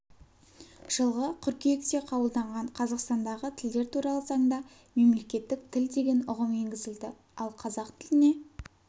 жылғы қыркүйекте қабылданған қазақстан дағы тілдер туралы заңда мемлекеттік тіл деген ұғым енгізілді ал қазақ тіліне